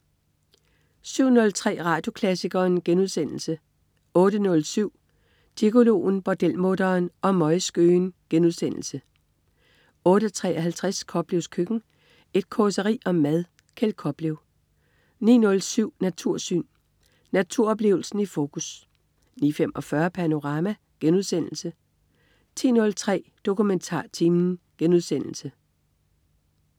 07.03 Radioklassikeren* 08.07 Gigoloen, bordelmutteren og møgskøen* 08.53 Koplevs Køkken. Et causeri om mad. Kjeld Koplev 09.07 Natursyn. Naturoplevelsen i fokus 09.45 Panorama* 10.03 DokumentarTimen*